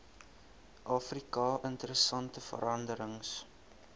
afrika interessante veranderings